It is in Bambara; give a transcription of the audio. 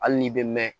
Hali n'i bɛ mɛn